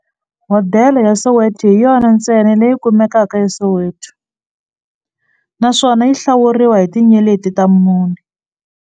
Hodela ya Soweto hi yona ntsena leyi kumekaka eSoweto, naswona yi hlawuriwa hi tinyeleti ta mune.